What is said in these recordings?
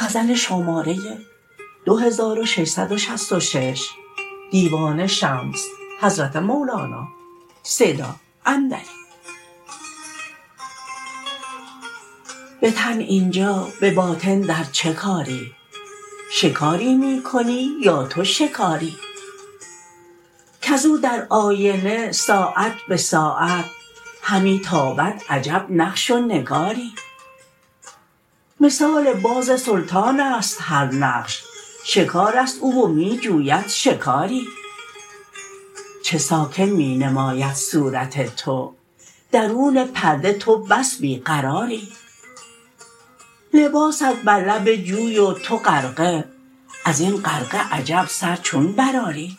به تن این جا به باطن در چه کاری شکاری می کنی یا تو شکاری کز او در آینه ساعت به ساعت همی تابد عجب نقش و نگاری مثال باز سلطان است هر نقش شکار است او و می جوید شکاری چه ساکن می نماید صورت تو درون پرده تو بس بی قراری لباست بر لب جوی و تو غرقه از این غرقه عجب سر چون برآری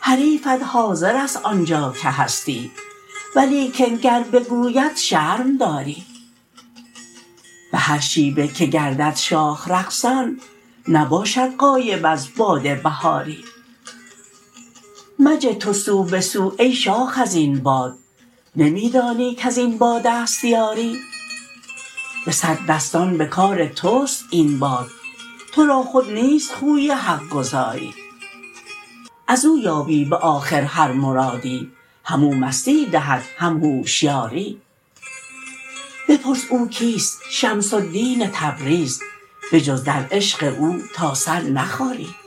حریفت حاضر است آن جا که هستی ولیکن گر بگوید شرم داری به هر شیوه که گردد شاخ رقصان نباشد غایب از باد بهاری مجه تو سو به سو ای شاخ از این باد نمی دانی کز این باد است یاری به صد دستان به کار توست این باد تو را خود نیست خوی حق گزاری از او یابی به آخر هر مرادی همو مستی دهد هم هوشیاری بپرس او کیست شمس الدین تبریز بجز در عشق او تا سر نخاری